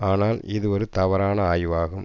ஆனால் இது ஒரு தவறான ஆய்வாகும்